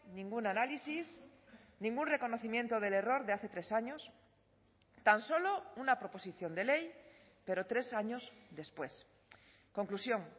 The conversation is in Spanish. ningún análisis ningún reconocimiento del error de hace tres años tan solo una proposición de ley pero tres años después conclusión